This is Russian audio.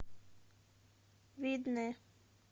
видное